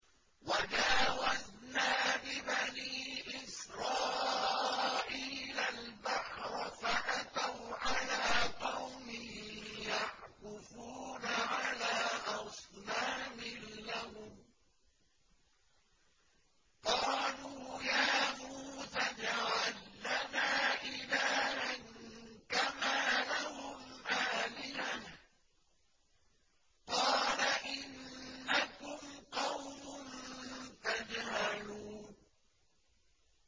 وَجَاوَزْنَا بِبَنِي إِسْرَائِيلَ الْبَحْرَ فَأَتَوْا عَلَىٰ قَوْمٍ يَعْكُفُونَ عَلَىٰ أَصْنَامٍ لَّهُمْ ۚ قَالُوا يَا مُوسَى اجْعَل لَّنَا إِلَٰهًا كَمَا لَهُمْ آلِهَةٌ ۚ قَالَ إِنَّكُمْ قَوْمٌ تَجْهَلُونَ